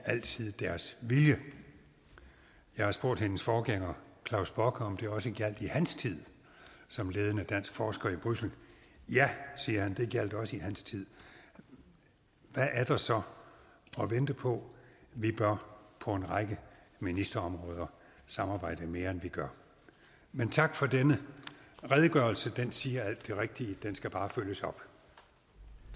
altid deres vilje jeg har spurgt hendes forforgænger klaus bock om det også gjaldt i hans tid som ledende dansk forsker i bruxelles ja siger han det gjaldt også i hans tid hvad er der så at vente på vi bør på en række ministerområder samarbejde mere end vi gør men tak for denne redegørelse den siger alt det rigtige den skal bare følges op